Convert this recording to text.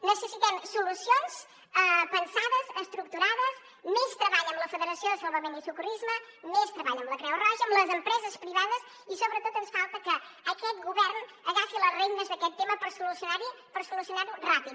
necessitem solucions pensades estructurades més treball amb la federació de salvament i socorrisme més treball amb la creu roja amb les empreses privades i sobretot ens falta que aquest govern agafi les regnes d’aquest tema per solucionar ho ràpid